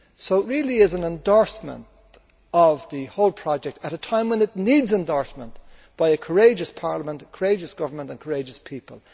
This really is therefore an endorsement of the whole project at a time when it needs endorsement by a courageous parliament, courageous government and courageous people.